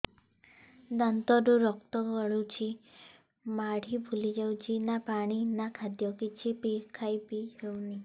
ଦାନ୍ତ ରୁ ରକ୍ତ ଗଳୁଛି ମାଢି ଫୁଲି ଯାଉଛି ନା ପାଣି ନା ଖାଦ୍ୟ କିଛି ଖାଇ ପିଇ ହେଉନି